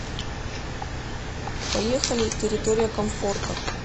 поехали территория комфорта